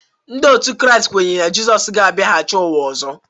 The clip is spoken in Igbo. Ndị otu Kraịst kweere na Jizọs ga-abịaghachi n’ụwa ọzọ